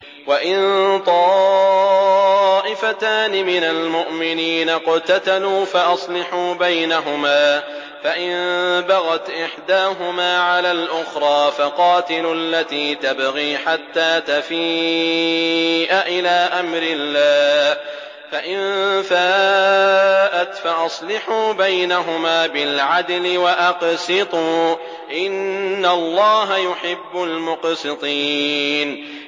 وَإِن طَائِفَتَانِ مِنَ الْمُؤْمِنِينَ اقْتَتَلُوا فَأَصْلِحُوا بَيْنَهُمَا ۖ فَإِن بَغَتْ إِحْدَاهُمَا عَلَى الْأُخْرَىٰ فَقَاتِلُوا الَّتِي تَبْغِي حَتَّىٰ تَفِيءَ إِلَىٰ أَمْرِ اللَّهِ ۚ فَإِن فَاءَتْ فَأَصْلِحُوا بَيْنَهُمَا بِالْعَدْلِ وَأَقْسِطُوا ۖ إِنَّ اللَّهَ يُحِبُّ الْمُقْسِطِينَ